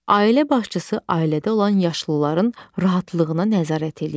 Ailə başçısı ailədə olan yaşlıların rahatlığına nəzarət eləyir.